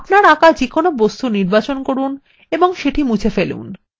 আপনার আঁকা যেকোন বস্তুর নির্বাচন করুন এবং সেটি মুছে ফেলুন